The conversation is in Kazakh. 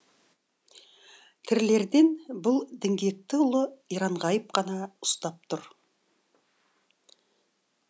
тірілерден бұл діңгекті ұлы иранғайып қана ұстап тұр